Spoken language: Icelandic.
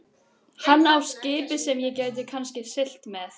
Hann á skip sem ég get kannski siglt með.